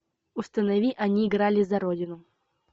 установи они играли за родину